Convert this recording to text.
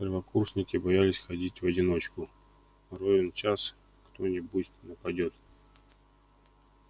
первокурсники боялись ходить в одиночку ровен час кто-нибудь нападёт